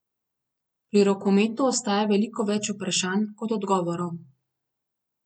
Pri rokometu ostaja veliko več vprašanj, kot odgovorov.